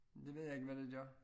Det ved jeg ikke hvad det gør